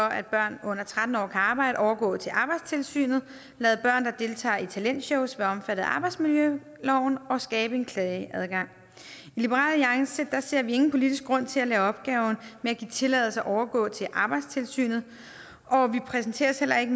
at børn under tretten år kan arbejde overgå til arbejdstilsynet lade børn der deltager i talentshows være af arbejdsmiljøloven og skabe en klageadgang i liberal alliance ser vi ingen politisk grund til at lade opgaverne med at give tilladelser overgå til arbejdstilsynet og vi præsenterer os heller ikke